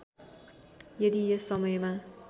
यदि यस समयमा